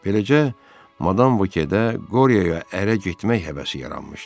Beləcə madam Vokedə Qoryoya ərə getmək həvəsi yaranmışdı.